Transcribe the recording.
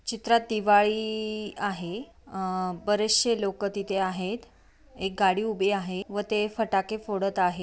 चित्रात दिवाळी इ आहे अह बरेशे लोक तिथे आहेत एक गाडी उभी आहे व ते फटाके फोडत आहे.